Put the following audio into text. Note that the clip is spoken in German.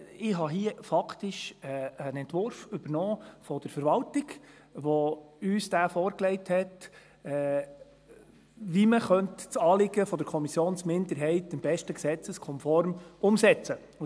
Ich habe hier faktisch einen Entwurf der Verwaltung übernommen, die uns diesen vorgelegt hat, wie man das Anliegen der Kommissionsminderheit am besten gesetzeskonform umsetzen kann.